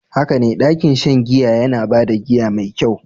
Haka ne, ɗakin shan giya yana ba da giya mai kyau.